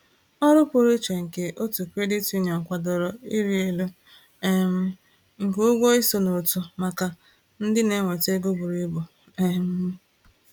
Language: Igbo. Ọrụ pụrụ iche nke otu credit union kwadoro ịrị elu um nke ụgwọ iso n’otu maka ndị na-enweta ego buru ibu. um